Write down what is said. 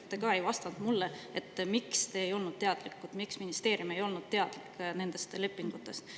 Te ei vastanud mulle, miks te ei olnud teadlikud, miks ministeerium ei olnud teadlik nendest lepingutest.